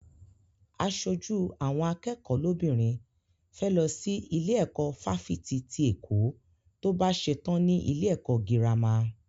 Aṣojú àwọn akẹ́kọ̀ọ́ lóbìnrin fẹ́ lọ sí ilé ẹ̀kọ́ fáfitì ti Èkó tó bá ṣetán ní ilé ẹ̀kọ́ gírámà.